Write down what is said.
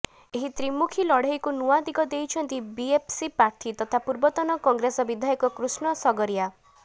ଏହି ତ୍ରିମୁଖୀ ଲଢେଇକୁ ନୂଆ ଦିଗ ଦେଇଛନ୍ତି ବିଏସ୍ପି ପ୍ରାର୍ଥୀ ତଥା ପୂର୍ବତନ କଂଗ୍ରେସ ବିଧାୟକ କୃଷ୍ଣ ସଗରିଆ